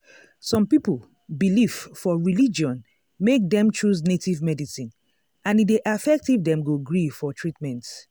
some people belief for religion make dem choose native medicine and e dey affect if dem go gree for treatment.